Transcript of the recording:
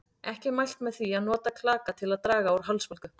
Ekki er mælt með því að nota klaka til að draga úr hálsbólgu.